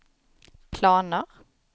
planer